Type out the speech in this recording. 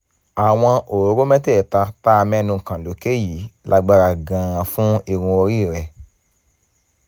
àwọn òróró mẹ́tẹ̀ẹ̀ta tá a mẹ́nu kàn lókè yìí lágbára gan-an fún irun orí rẹ